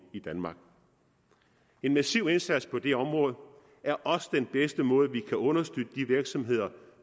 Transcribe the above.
i danmark en massiv indsats på det område er også den bedste måde vi kan understøtte de virksomheder